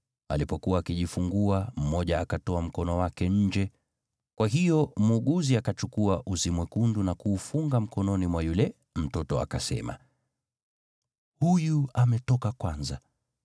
Alipokuwa akijifungua, mmoja akatoa mkono wake nje, kwa hiyo mkunga akachukua uzi mwekundu na kuufunga mkononi mwa yule mtoto, akasema, “Huyu ametoka kwanza.”